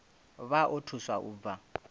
vha o thusa u bva